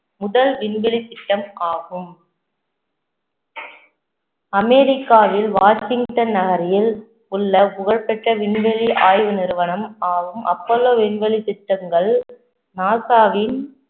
முதல் விண்வெளித் திட்டம் ஆகும் அமெரிக்காவில் வாஷிங்டன் நகரில் உள்ள புகழ்பெற்ற விண்வெளி ஆய்வு நிறுவனம் ஆகும் அப்போலோ விண்வெளி திட்டங்கள் நாசாவின்